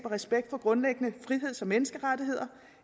og respekt for grundlæggende friheds og menneskerettigheder